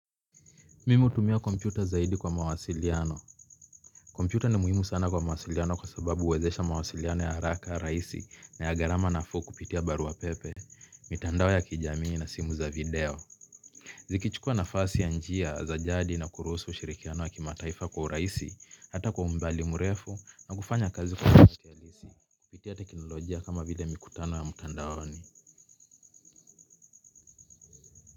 Mimi hutumia kompyuta zaidi kwa mawasiliano. Kompyuta ni muhimu sana kwa mawasiliano kwa sababu huwezesha mawasiliano ya haraka, rahisi na ya gharama nafuu kupitia barua pepe. Mitandao ya kijamii na simu za video zikichukua njia za jadi na kuruhusu ushirikiano wa kimataifa kwa urahisi hata kwa umbali mrefu na kufanya kazi kwa njia halisi kupitia teknolojia kama vile mikutano ya mtandaoni.